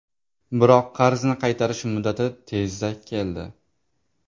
Biroq, qarzni qaytarish muddati tezda keldi.